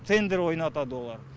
тендер ойнатады оған